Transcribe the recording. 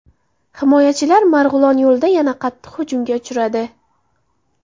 Himoyachilar Marg‘ilon yo‘lida yana qattiq hujumga uchradi.